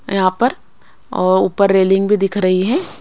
यहां पर और ऊपर रेलिंग भी दिख रही है।